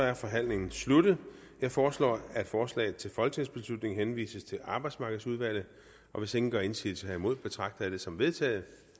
er forhandlingen sluttet jeg foreslår at forslaget til folketingsbeslutning henvises til arbejdsmarkedsudvalget hvis ingen gør indsigelse herimod betragter jeg det som vedtaget